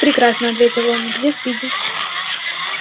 прекрасно ответил он где спиди